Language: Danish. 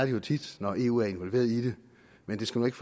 jo tit når eu er involveret men det skal nu ikke